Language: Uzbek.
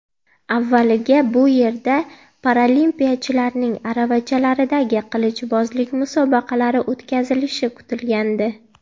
Avvaliga bu yerda paralimpiyachilarning aravachalardagi qilichbozlik musobaqalari o‘tkazilishi kutilgandi.